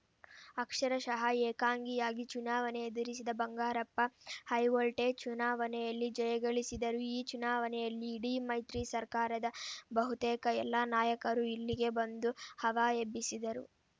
ಅಕ್ಷರಶಃ ಏಕಾಂಗಿಯಾಗಿ ಚುನಾವಣೆ ಎದರಿಸಿದ ಬಂಗಾರಪ್ಪ ಹೈವೊಲ್ಟೇಜ್‌ ಚುನಾವಣೆಯಲ್ಲಿ ಜಯಗಳಿಸಿದರು ಈ ಚುನಾವಣೆಯಲ್ಲಿ ಇಡೀ ಮೈತ್ರಿ ಸರ್ಕಾರದ ಬಹುತೇಕ ಎಲ್ಲ ನಾಯಕರೂ ಇಲ್ಲಿಗೆ ಬಂದು ಹವಾ ಎಬ್ಬಿಸಿದರು